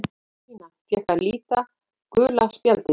Ólína fékk að líta gula spjaldið.